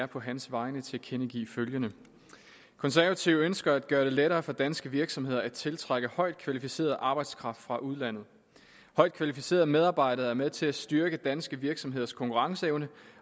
på hans vegne tilkendegive følgende konservative ønsker at gøre det lettere for danske virksomheder at tiltrække højt kvalificeret arbejdskraft fra udlandet højt kvalificerede medarbejdere er med til at styrke danske virksomheders konkurrenceevne